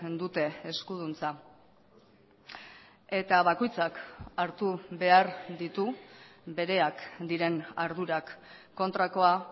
dute eskuduntza eta bakoitzak hartu behar ditu bereak diren ardurak kontrakoa